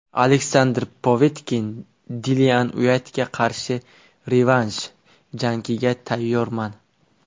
Aleksandr Povetkin: Dillian Uaytga qarshi revansh jangiga tayyorman.